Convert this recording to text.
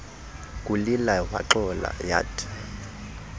kulila waxola yathi